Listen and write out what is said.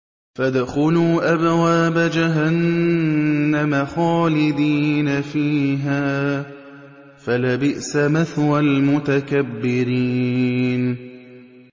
فَادْخُلُوا أَبْوَابَ جَهَنَّمَ خَالِدِينَ فِيهَا ۖ فَلَبِئْسَ مَثْوَى الْمُتَكَبِّرِينَ